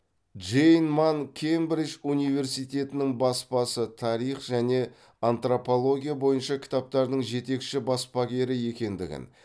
джейн манн кембридж университетінің баспасы тарих және антропология бойынша кітаптардың жетекші баспагері екендігін